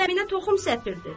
Zəminə toxum səpirdi.